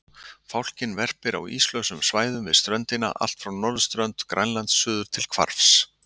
Fálkinn verpir á íslausum svæðum við ströndina allt frá norðurströnd Grænlands suður til Hvarfs.